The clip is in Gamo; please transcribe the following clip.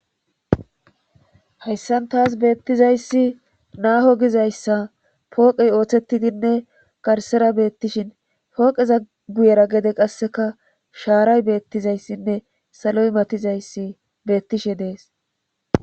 hayssan taas beettizayssi naaho gizayssa pooqey ooththettidinne garsera beettishin pooqeza guyera gede qasseka shaaray beettizayssinne saloy matizayssi beettishe dees